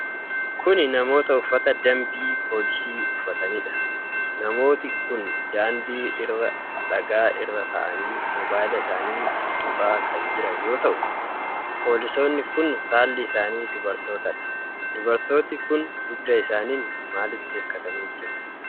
Kuni namoota uffata dampii poolisii uffataniidha. Namooti kun daandii irra dhagaa irra taa'anii mobaayila isaanii tuttuqaa kan jiran yoo ta'u, poolisoonni kun saalli isaanii dubartootadha. Dubartooti kun dugda isaaniin maalitti hirkatanii jiru?